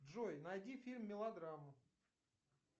джой найди фильм мелодраму